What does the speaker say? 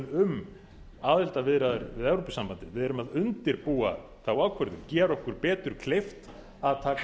um aðildarviðræður við evrópusambandið við erum að undirbúa þá ákvörðun gera okkur betur kleift að taka